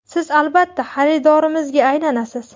Siz , albatta , xaridorimizga aylanasiz !